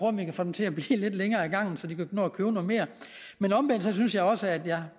om vi kan få dem til at blive lidt længere ad gangen så de kan nå at købe noget mere men omvendt synes jeg også at jeg